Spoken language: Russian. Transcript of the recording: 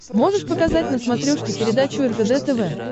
можешь показать на смотрешке передачу ржд тв